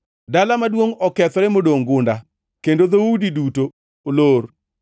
Dala maduongʼ okethore modongʼ gunda, kendo dhoudi duto olor.